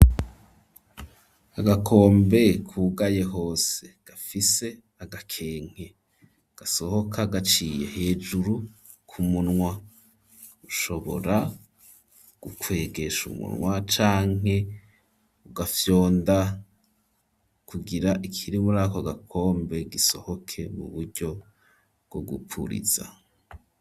Agakombe kugaye hose gafise agakenke gasohoka gaciye hejuru k'umunwa ushobora gukwegesha umunwa canke ugafyonda kugira ikiri murako gakombe gisohoke mu buryo bwo gupuriza.